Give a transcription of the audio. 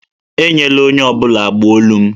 Enyela onye ọ bụla agbụ olu m